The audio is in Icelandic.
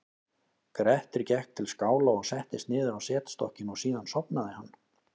grettir gekk til skála og settist niður á setstokkinn og síðan sofnaði hann